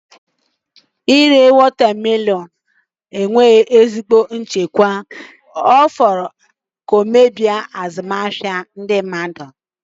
Ịre watermelons na-enweghị ezigbo nchekwa ọ fọrọ nke nta ka ọ ghara imebi azụmahịa ndị mmadụ.